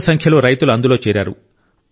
పెద్ద సంఖ్యలో రైతులు అందులో చేరారు